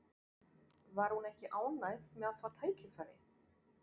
Var hún ekki ánægð með að fá tækifærið?